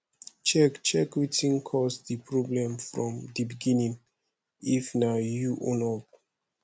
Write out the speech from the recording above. check check wetin cause di problem from di begining if na you own up